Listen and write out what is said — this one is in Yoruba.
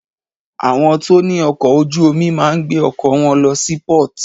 Àwọn tó ní ọkọ̀ ojú omi máà ń gbé ọkọ̀ wọn lọ sí port.